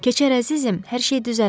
Keçər əzizim, hər şey düzələr.